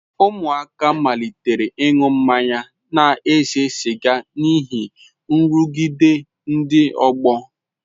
Ụmụaka malitere ịṅụ mmanya na ise siga n'ihi nrụgide ndị ọgbọ.